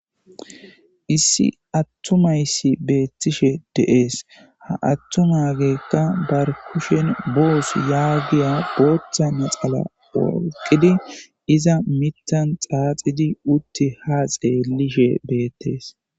Issi atumaysi betishe de'es Ha atumageyla ba kushe boss yegiya booths laxana tokidi iza mithan xaaxidi utti ha xeelishe beetes